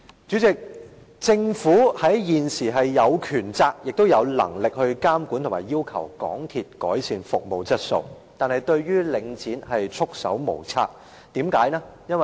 主席，政府現時有權責和能力監管及要求港鐵改善服務質素，但是，對於領展卻束手無策，為甚麼呢？